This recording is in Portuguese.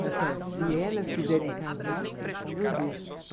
Falou assim, olha, se elas quiserem casar, eu deixo.